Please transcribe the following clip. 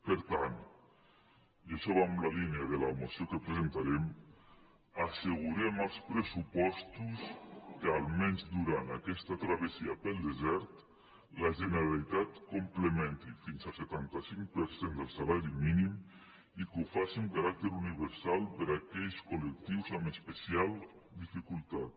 per tant i això va en la línia de la moció que presen·tarem assegurem als pressupostos que almenys durant aquesta travessia pel desert la generalitat complemen·ti fins al setanta cinc per cent del salari mínim i que ho faci amb caràcter universal per a aquells col·lectius amb especi·al dificultat